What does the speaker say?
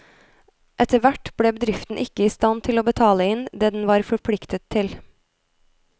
Etterhvert ble bedriften ikke i stand til å betale inn det den var forpliktet til.